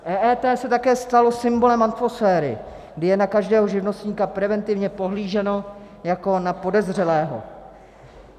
EET se také stalo symbolem atmosféry, kdy je na každého živnostníka preventivně pohlíženo jako na podezřelého.